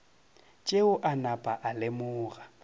tšeo a napa a lemoga